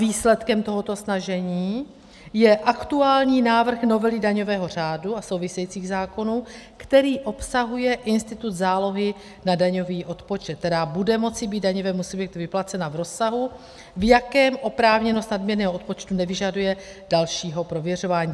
Výsledkem tohoto snažení je aktuální návrh novely daňového řádu a souvisejících zákonů, který obsahuje institut zálohy na daňový odpočet, která bude moci být daňovému subjektu vyplacena v rozsahu, v jakém oprávněnost nadměrného odpočtu nevyžaduje dalšího prověřování.